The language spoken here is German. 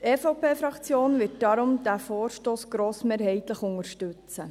Die EVP-Fraktion wird diesen Vorstoss deshalb grossmehrheitlich unterstützen.